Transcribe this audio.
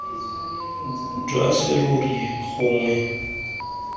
jwa serori gongwe boma jo